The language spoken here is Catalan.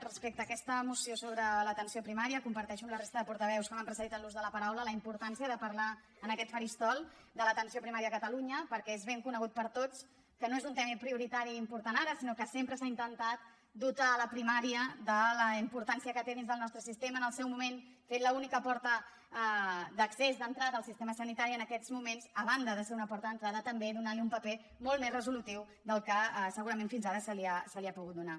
respecte a aquesta moció sobre l’atenció primària comparteixo amb la resta de portaveus que m’han precedit en l’ús de la paraula la importància de parlar en aquest faristol de l’atenció primària a catalunya perquè és ben conegut per tots que no és un tema prioritari i important ara sinó que sempre s’ha intentat dotar la primària de la importància que té dins del nostre sistema en el seu moment fent l’única porta d’accés d’entrada al sistema sanitari en aquests moments a banda de ser una porta d’entrada també donant li un paper molt més resolutiu del que segurament fins ara se li ha pogut donar